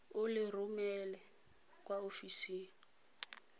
o le romele kwa ofising